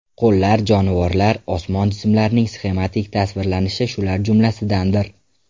Qo‘llar, jonivorlar, osmon jismlarining sxematik tasvirlanishi shular jumlasidandir.